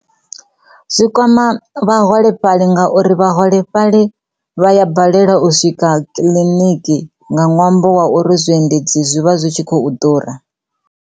Zwi kwama vhaholefhali ngauri vhaholefhali vha ya balelwa u swika kiḽiniki nga ṅwambo wa uri zwi endedzi zwivha zwi tshi khou ḓura.